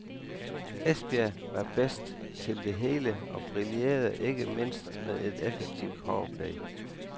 Esbjerg var bedst til det hele og brillerede ikke mindst med et effektivt power play.